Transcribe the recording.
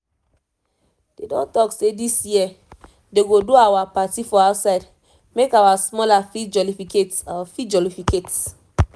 they don talk say this year they go do our party for outside make our smalla fit jolificate fit jolificate